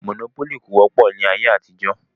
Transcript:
Mònópólì kò wọ́pọ̀ ní ayé àtijọ́